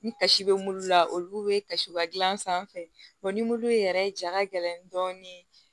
Ni kasi bɛ mulu la olu bɛ kasiba dilan sanfɛ ni yɛrɛ ja gɛlɛn dɔɔnin